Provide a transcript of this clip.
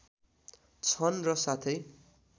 छन् र साथै